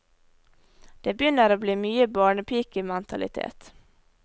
Det begynner å bli mye barnepikementalitet.